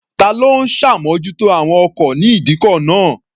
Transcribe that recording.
Ta ló ń ṣàmójútó àwọn ọkọ̀ ní ìdíkọ̀ náà?